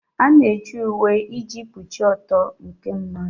A na-eji uwe iji kpuchie ịgba ọtọ nke mmadụ.